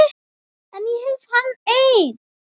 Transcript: En ég hef hana enn.